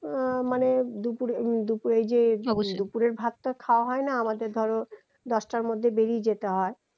আহ মানে দুপুরের অবশ্যই ভাতটা খাওয়া হয়না আমাদের ধরো দশটার মধ্যেই বেরিয়ে যেতে হয়